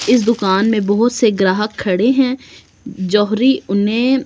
इस दुकान में बहुत से ग्राहक खड़े है जोेहरी उन्हे --